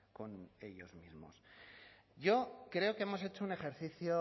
con ellos mismos yo creo que hemos hecho un ejercicio